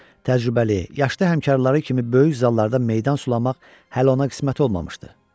Düzdür, təcrübəli, yaşlı həmkarları kimi böyük zallarda meydan sulamaq hələ ona qismət olmamışdı.